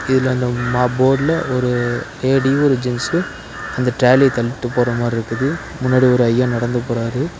இதுல அந்த மா போர்டுல ஒரு லேடியு ஒரு ஜென்ஸு அந்த ட்ராலிய தள்ளிட்டு போற மாரி இருக்குது முன்னாடி ஒரு ஐயா நடந்து போறாரு.